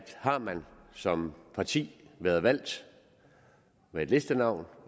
har man som parti været valgt med et listenavn